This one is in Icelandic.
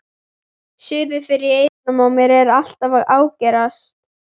Suðið fyrir eyrunum á mér er alltaf að ágerast.